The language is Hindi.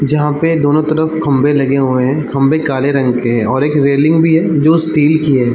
जहां पे दोनों तरफ खम्बे लगे हुए हैं खम्बे काले रंग के हैं और एक रेलिंग भी है जो की स्टील की है।